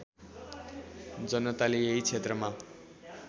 जनताले यही क्षेत्रमा